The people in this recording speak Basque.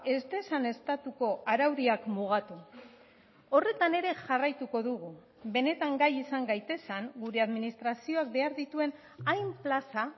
ez dezan estatuko araudiak mugatu horretan ere jarraituko dugu benetan gai izan gaitezen gure administrazioak behar dituen hain plaza